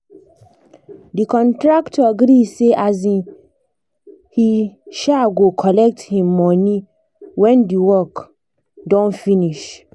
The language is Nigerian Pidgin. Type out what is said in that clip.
the contractor gree say um he um go collect him money when the work um finish